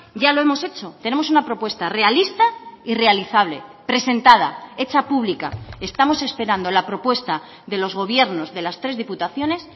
ya lo hemos hecho tenemos una propuesta realista y realizable presentada hecha pública estamos esperando la propuesta de los gobiernos de las tres diputaciones